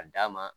A d'a ma